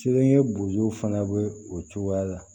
Seleke bojɔ fana be o cogoya la